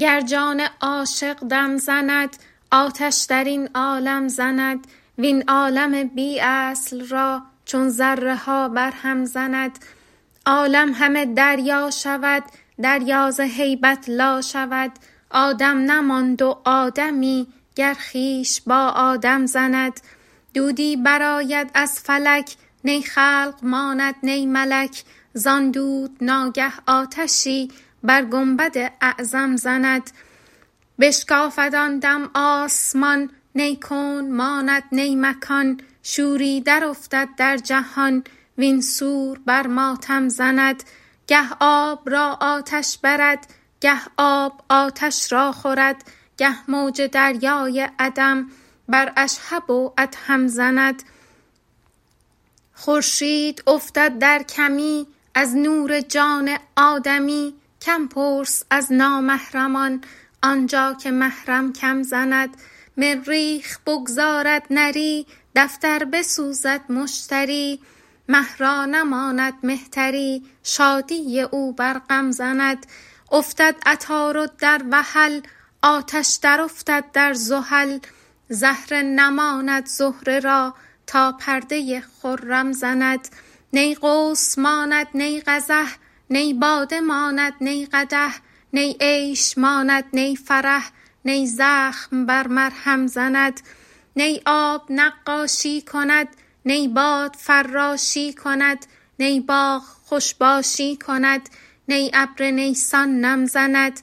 گر جان عاشق دم زند آتش در این عالم زند وین عالم بی اصل را چون ذره ها برهم زند عالم همه دریا شود دریا ز هیبت لا شود آدم نماند و آدمی گر خویش با آدم زند دودی برآید از فلک نی خلق ماند نی ملک زان دود ناگه آتشی بر گنبد اعظم زند بشکافد آن دم آسمان نی کون ماند نی مکان شوری درافتد در جهان وین سور بر ماتم زند گه آب را آتش برد گه آب آتش را خورد گه موج دریای عدم بر اشهب و ادهم زند خورشید افتد در کمی از نور جان آدمی کم پرس از نامحرمان آن جا که محرم کم زند مریخ بگذارد نری دفتر بسوزد مشتری مه را نماند مهتری شادی او بر غم زند افتد عطارد در وحل آتش درافتد در زحل زهره نماند زهره را تا پرده خرم زند نی قوس ماند نی قزح نی باده ماند نی قدح نی عیش ماند نی فرح نی زخم بر مرهم زند نی آب نقاشی کند نی باد فراشی کند نی باغ خوش باشی کند نی ابر نیسان نم زند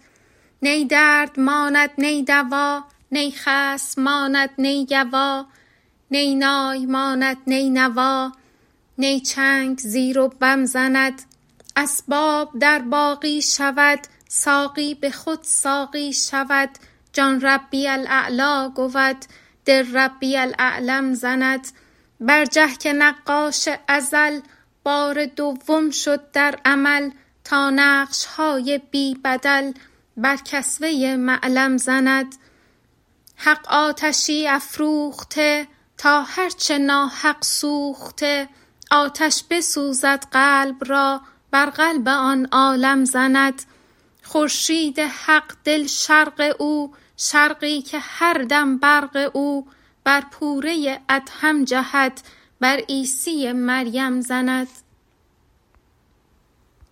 نی درد ماند نی دوا نی خصم ماند نی گوا نی نای ماند نی نوا نی چنگ زیر و بم زند اسباب در باقی شود ساقی به خود ساقی شود جان ربی الاعلی گود دل ربی الاعلم زند برجه که نقاش ازل بار دوم شد در عمل تا نقش های بی بدل بر کسوه معلم زند حق آتشی افروخته تا هر چه ناحق سوخته آتش بسوزد قلب را بر قلب آن عالم زند خورشید حق دل شرق او شرقی که هر دم برق او بر پوره ادهم جهد بر عیسی مریم زند